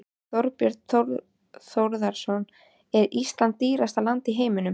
Þorbjörn Þórðarson: Er Ísland dýrasta land í heimi?